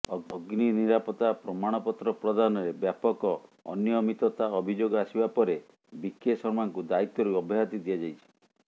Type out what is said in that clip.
ଅଗ୍ନି ନିରାପତ୍ତା ପ୍ରମାଣପତ୍ର ପ୍ରଦାନରେ ବ୍ୟାପକ ଅନିୟମିତତା ଅଭିଯୋଗ ଆସିବା ପରେ ବିକେ ଶର୍ମାଙ୍କୁ ଦାୟିତ୍ୱରୁ ଅବ୍ୟାହତି ଦିଆଯାଇଛି